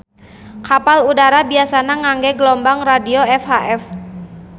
Kapal udara biasana ngangge gelombang radio VHF